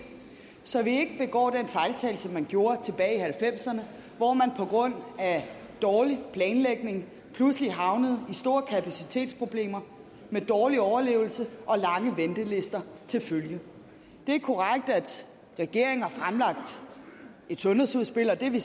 så vi ikke begår den fejltagelse man gjorde tilbage i nitten halvfemserne hvor man på grund af dårlig planlægning pludselig havnede i store kapacitetsproblemer med dårlig overlevelse og lange ventelister til følge det er korrekt at regeringen har fremlagt et sundhedsudspil og det er vi